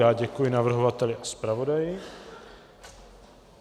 Já děkuji navrhovateli i zpravodaji.